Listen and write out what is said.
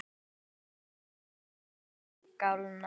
Frumur allra heilkjörnunga skipta sér þannig.